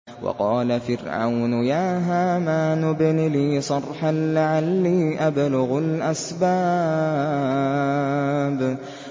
وَقَالَ فِرْعَوْنُ يَا هَامَانُ ابْنِ لِي صَرْحًا لَّعَلِّي أَبْلُغُ الْأَسْبَابَ